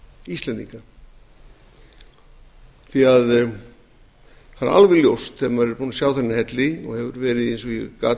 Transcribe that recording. íslendinga því að það er alveg ljóst þegar maður er búinn að sjá þennan helli og hefur verið eins og ég gat